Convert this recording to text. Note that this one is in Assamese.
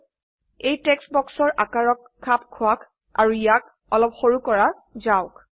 এই টেক্সট বক্সৰ আকাৰক খাপ খোৱাক আৰু ইয়াক অলপ সৰু কৰা যাওক